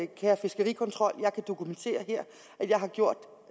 kære fiskerikontrol jeg kan her dokumentere at jeg har gjort